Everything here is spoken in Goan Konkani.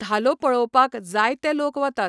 धालो पळोवपाक जायते लोक वतात.